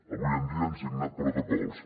avui en dia han signat protocols